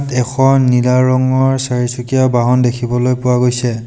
এখন নীলা ৰঙৰ চাৰিচকীয়া বাহন দেখিবলৈ পোৱা গৈছে।